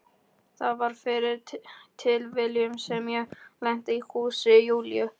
Það var fyrir tilviljun sem ég lenti í húsi Júlíu.